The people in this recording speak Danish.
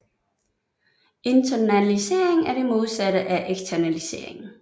Internalisering er det modsatte af eksternalisering